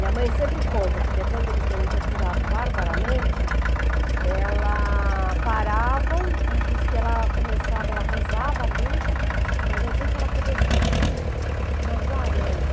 E a mãe sempre conta que depois de eles terem torturado barbaramente, elas paravam e diz que ela começava, ela rezava muito, mas de repente ela começou a ouvir uma guaranha.